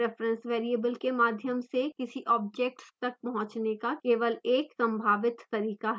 reference variable के माध्यम से किसी object तक पहुँचने का केवल एक संभावित तरीका है